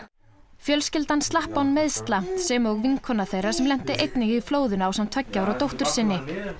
fjölskyldan slapp án meiðsla sem og vinkona þeirra sem lenti einnig í flóðinu ásamt tveggja ára dóttur sinni